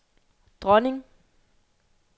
dronning